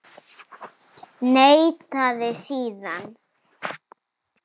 Neitaði síðan.